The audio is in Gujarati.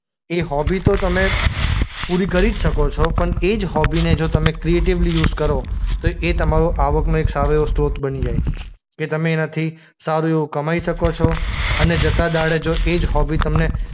એ હોબી તો તમે પૂરી કરી જ શકો છો પણ એ જ હોબીને જો તમે ક્રિએટિવલી યુઝ કરો તો એ તમારું આવકનો એક સારો એ સ્ત્રોત બની જાય. કે તમે એનાથી સારું એવું કમાઈ શકો છો અને જતા દહાડે જો એ જ હોભી તમને